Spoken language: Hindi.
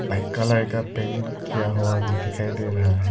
व्हाइट कलर का पेंट किया हुआ भी दिखाई दे रहा है।